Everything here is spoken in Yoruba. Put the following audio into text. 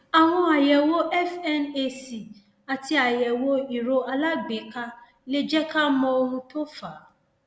àwọn àyẹwò fnac àti àyẹwò ìró alágbèéká lè jẹ ká mọ ohun tó fà á